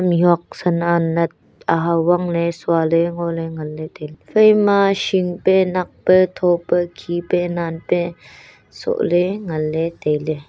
mihuak san anat ahao wangle suale ngole nganle tailey phaima hingpe nakpe thope khipe nanpe sohle nganle tailey.